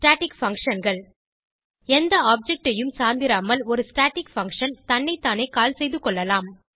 static functionகள் எந்த object ஐயும் சார்ந்திராமல் ஒரு ஸ்டாட்டிக் பங்ஷன் தன்னைத்தானே கால் செய்துகொள்ளலாம்